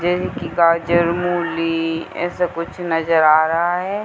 यही की गाजर मुली ऐसा कुछ नजर आ रहा है।